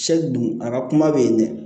dun a ka kuma bɛ yen dɛ